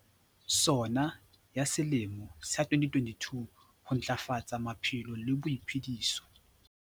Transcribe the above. SoNA ya selemo sa 2022. Ho Ntlafatsa Maphelo le Boiphediso.